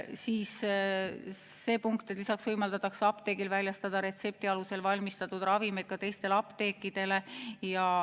Siis see punkt, et lisaks võimaldatakse apteegil väljastada retsepti alusel valmistatud ravimeid ka teistele apteekidele.